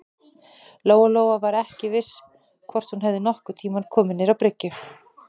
Lóa-Lóa var ekki viss hvort hún hefði nokkurn tíma komið niður á bryggju.